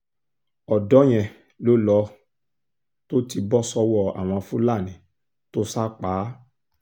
ọ̀dọ́ yẹn ló lọ tó ti bọ́ sọ́wọ́ àwọn fúlàní tó sá a pa